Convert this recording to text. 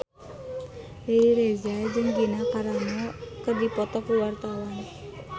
Riri Reza jeung Gina Carano keur dipoto ku wartawan